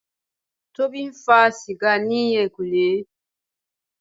Tobi ń fa sìgá ní ẹ̀yìnkùlé.